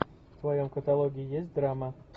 в твоем каталоге есть драма